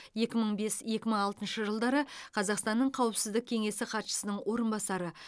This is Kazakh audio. екі мың бес екі мың алтыншы жылдары қазақстан республикасы қауіпсіздік кеңесі хатшысының орынбасары